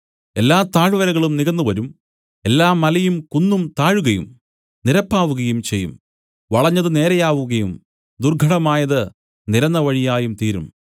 എല്ലാ താഴ്‌വരകളും നികന്നുവരും എല്ലാ മലയും കുന്നും താഴുകയും നിരപ്പാവുകയും ചെയ്യും വളഞ്ഞതു നേരെയാവുകയും ദുർഘടമായത് നിരന്ന വഴിയായും തീരും